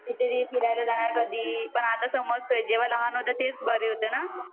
फिरायला जाणार कधी पण आता समजतंय जेव्हा लहान होते तेच बरं होतं ना